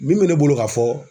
Min bɛ ne bolo ka fɔ